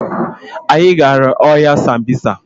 Anyị gara ọhịa sambisa